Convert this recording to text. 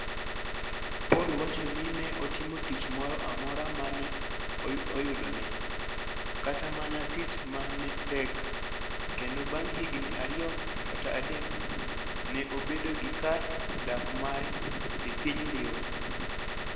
Paul wacho ni ne otimo tich moro amora ma ne oyudone, kata mana tich ma ne tek, kendo bang ' higini ariyo kata adek, ne obedo gi kar dak mare e piny Dhiwa.